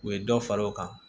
U ye dɔ fara o kan